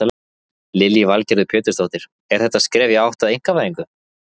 Lillý Valgerður Pétursdóttir: Er þetta skref í átt að einkavæðingu?